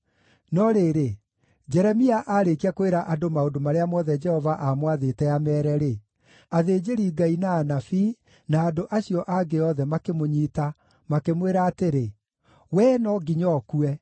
No rĩrĩ, Jeremia aarĩkia kwĩra andũ maũndũ marĩa mothe Jehova aamwathĩte ameere-rĩ, athĩnjĩri-Ngai, na anabii, na andũ acio angĩ othe makĩmũnyiita, makĩmwĩra atĩrĩ, “Wee no nginya ũkue!